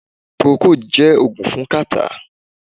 Procold jé ògùn fún catarrh